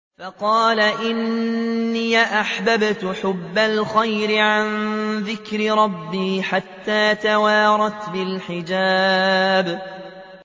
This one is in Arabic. فَقَالَ إِنِّي أَحْبَبْتُ حُبَّ الْخَيْرِ عَن ذِكْرِ رَبِّي حَتَّىٰ تَوَارَتْ بِالْحِجَابِ